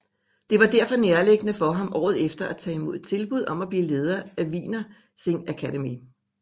Det var derfor nærliggende for ham året efter at tage imod et tilbud om at blive leder af Wiener Singakademie